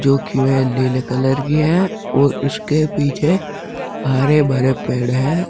जो कि वे नीले कलर की है और उसके पीछे हरे भरे पेड़ है।